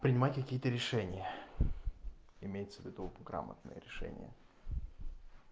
принимать какие-то решения имеется в виду грамотное решение